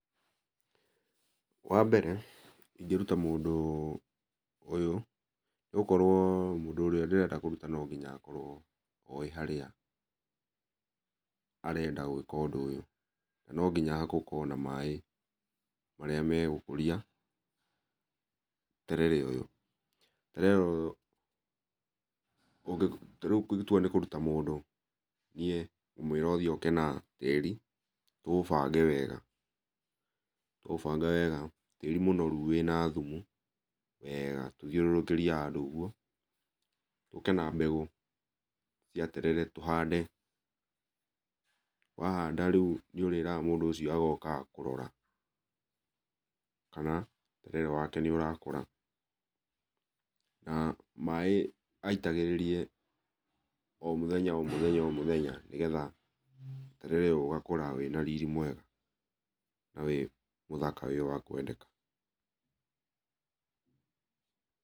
Wambere ingĩruta mũndũ ũyũ, nĩgũkorwo mũndũ ũrĩa ndĩrenda kũruta no nginya akorwo oĩ harĩa arenda gwĩka ũndũ ũyũ, na no nginya gũkorwo na maĩ, marĩa megũkũria terere ũyũ. Terere ũyũ tarĩu ingĩtua nĩ kũruta mũndũ, niĩ ngũmwĩra athi oke na tĩri, tũũbange wega. Twaũbanga wega, tĩri mũnoru wĩna thumu weega, tũthiũrũrũkĩrie handũ ũguo. Tũke na mbegũ cia terere tũhande, wahanda rĩu nĩũrĩraga mũndũ ũcio agokaga kũrora, kana terere wake nĩũrakũra, na maĩ aitagĩrĩrie o mũthenya o mũthenya o mũthenya nĩgetha terere ũyũ ũgakũra wĩna riri mwega na wĩ mũthaka wĩ wa kwendeka.